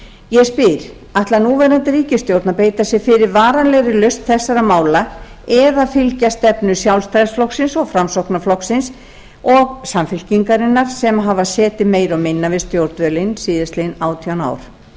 ég spyr ætlar núverandi ríkisstjórn að beita sér fyrir varanlegri lausn þessara mála eða fylgja stefnu sjálfstæðisflokksins og framsóknarflokksins og samfylkingarinnar sem hafa setið meira og minna við stjórnvölinn síðastliðinn átján ár